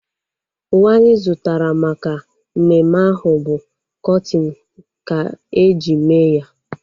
Uwe anyị zụtara maka mmemme ahu bu kọtin ka-eji mee ya